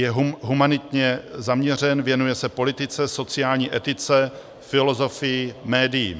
Je humanitně zaměřen, věnuje se politice, sociální etice, filozofii, médiím.